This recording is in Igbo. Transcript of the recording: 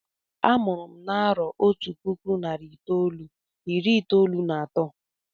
Amụrụ m na-arọ Otú puku narị itolu irí itolu na atọ.